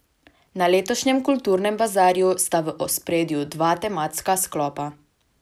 Na letošnjem Kulturnem bazarju sta v ospredju dva tematska sklopa.